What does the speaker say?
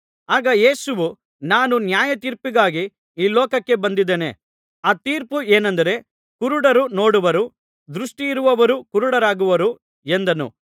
ಆಗ ಯೇಸುವು ನಾನು ನ್ಯಾಯತೀರ್ಪಿಗಾಗಿ ಈ ಲೋಕಕ್ಕೆ ಬಂದಿದ್ದೇನೆ ಆ ತೀರ್ಪು ಏನೆಂದರೆ ಕುರುಡರು ನೋಡುವರು ದೃಷ್ಟಿ ಇರುವವರು ಕುರುಡರಾಗುವರು ಎಂದನು